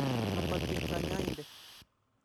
Lapati kanyaindet.